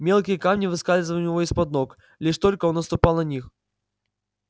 мелкие камни выскальзывали у него из под ног лишь только он наступал на них